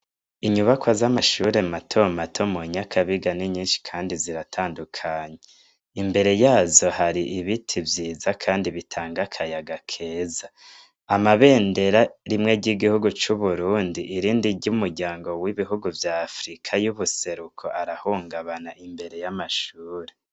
Inyubako z'amashure mato mato mu nyakabiga ni nyinshi, kandi ziratandukanya imbere yazo hari ibiti vyiza, kandi bitanga akayaga keza amabendera rimwe ry'igihugu c'uburundi irindi ry'umuryango w'ibihugu vya afrika y'ubuseruko arahungabana imbere y'amashure.